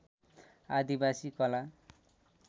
आदिवासी कला